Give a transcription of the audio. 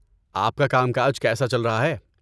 آپ کا کام کاج کیسا چل رہا ہے؟